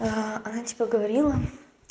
она тебе говорила